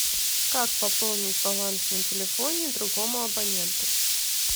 как пополнить баланс на телефоне другому абоненту